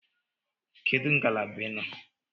Kedu ngalaba ị nọ?